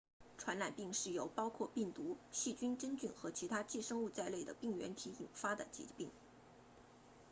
传染病是由包括病毒细菌真菌和其他寄生物在内的病原体引起的疾病